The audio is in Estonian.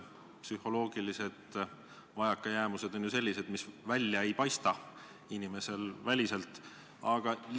Psühholoogilised vajakajäämised on ju sellised, mis inimesel välja ei paista.